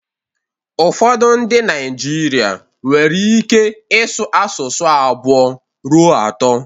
Ụfọdụ ndị Naijiria nwere ike ịsụ asụsụ abụọ ruo atọ